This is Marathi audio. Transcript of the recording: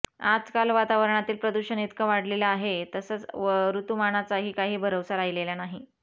आजकाल वातावरणातील प्रदूषण इतकं वाढलेलं आहे तसंच ऋतुमानाचाही काही भरवसा राहिलेला नाही